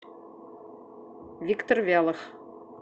виктор вялов